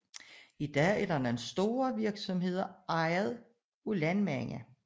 I dag er der nogle store virksomheder ejet af landmænd